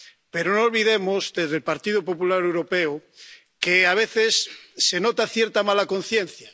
Pero no olvidemos, desde el Partido Popular Europeo, que a veces se nota cierta mala conciencia.